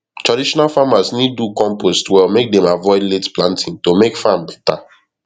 traditional farmers need do compost well make them avoid late planting to make farm better